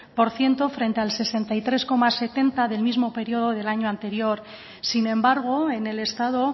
por ciento frente al sesenta y tres coma setenta del mismo periodo del año anterior sin embargo en el estado